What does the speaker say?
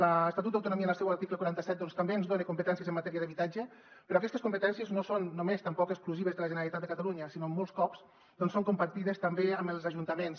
l’estatut d’autonomia en el seu article quaranta set també ens dona competències en matèria d’habitatge però aquestes competències no són només exclusives de la generalitat de catalunya sinó que molts cops són compartides també amb els ajuntaments